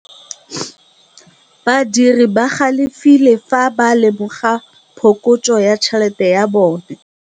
Badiri ba galefile fa ba lemoga phokotsô ya tšhelête ya bone.